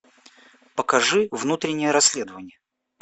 покажи внутреннее расследование